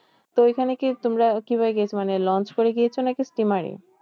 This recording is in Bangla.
তো ঐখানে কি তোমরা কিভাবে গিয়েছো? মানে লঞ্চ করে গিয়েছো নাকি steamer এ?